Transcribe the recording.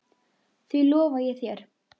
Því lofa ég þér.